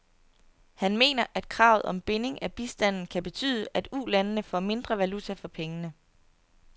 Han mener, at kravet om binding af bistanden kan betyde, at ulandene får mindre valuta for pengene.